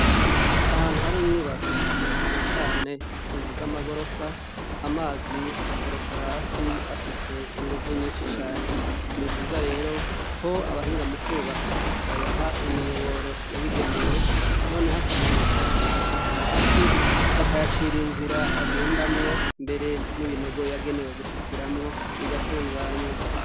Ahantu hari inyubako na cane cane inzu zamagorofa amazi akoroka hasi afise inguvu nyinshi cane nivyiza rero ko abahinga mukubaka bayaha imiyoboro yabigenewe noneho akamanuka agashika hasi bakayacira inzira agendamwo mbere nibinogo yagenewe gushikiramwo bigatunganywa.